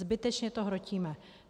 Zbytečně to hrotíme.